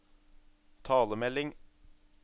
talemelding